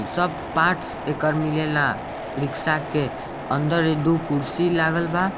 ई सब पार्ट्स एकर मिलेला रिक्शा के अन्दर एक-दू कुर्सी लगल बा।